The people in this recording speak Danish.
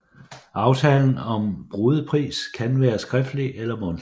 Aftalen om brudepris kan være skriftlig eller mundtlig